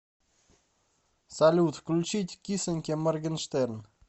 салют включить кисоньке моргенштерн